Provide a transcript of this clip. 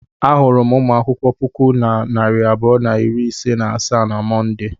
Ahụrụ m ụmụ akwụkwọ puku na narị abụọ na iri ise na asaa na Mọnde.